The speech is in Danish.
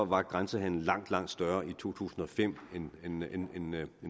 var grænsehandelen langt langt større i to tusind og fem end